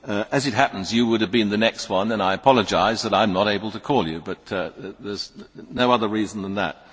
As it happens, you would have been the next one and I apologise that I am not able to call you, but there is no other reason than that.